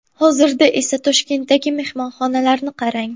Hozirda esa Toshkentdagi mehmonxonalarni qarang!